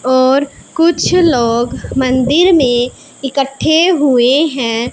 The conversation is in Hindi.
और कुछ लोग मंदिर में इकट्ठे हुए हैं।